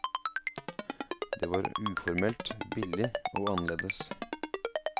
Det var uformelt, billig og annerledes.